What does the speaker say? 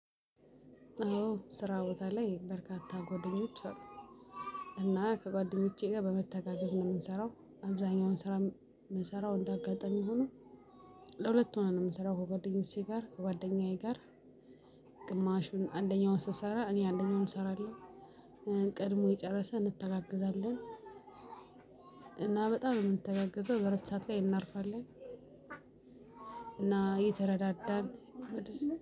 አዎ ስራ ቦታ ላይ በርካታ ጓደኞች አሉ። እና ከጓደኞቼ ጋር በመተጋገዝ ነው የምንሰራው አብዛኛውን ስራ የምንሰራው እንደ አጋጣሚ ሆኖ። ለሁለት ሆነን ነው የምንሰራው ከጓደኞቼ ጋር ከጓደኛዬ ጋር። ግማሹን አንደኛውን ስሰራ እኔ አንደኛውን እሰራለው። ቀድሞ የጨረሰ እንተጋገዛለን። እና በጣም ነው የምንተጋገዘው በእረፍት ላይ እናርፋለን። እና እተረዳዳን